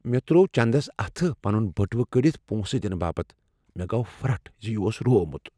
مےٚ ترٛوو چنٛدس اتھٕ پنن بٔٹوٕ کٔڈتھ پونسہٕ دنہٕ باپت۔ مےٚ گوٚو پھرٹھ ز یہ اوس روومت۔